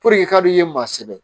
k'a d'i ye maa sɛbɛ